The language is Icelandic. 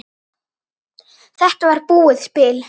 Þetta var búið spil.